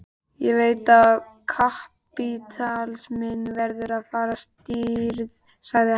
Ég veit að kapítalisminn verður að hafa stríð, sagði hann.